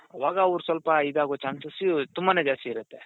ಆವಾಗ ಅವ್ರು ಸ್ವಲ್ಪ ಇದಾಗೋ chances ತುಂಬಾನೇ ಜಾಸ್ತಿ ಇರುತ್ತೆ